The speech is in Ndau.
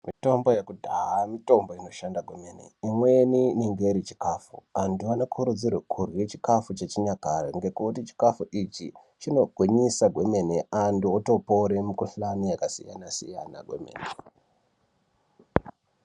Mitombo yekudhaya mitombo inoshanda kwemene imweni inenge iri chikafu anth anokurudzirwa kudya chikafu chechinyakare ngekuti chikafu ichi chinogwinyisa kwemene antu otopore mikuhlani yakasiyana-siyana otopore kwemene.